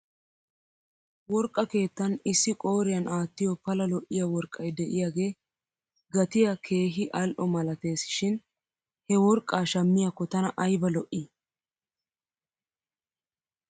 Worqqa keettan issi qooriyan aattiyoo pala lo'iyaa worqqay de'iyaagee gatiyaa keehi al'o malates shin he worqqaa shmiyaakko tana ayba lo'ii!